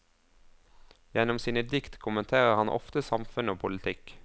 Gjennom sine dikt kommenterer han ofte samfunn og politikk.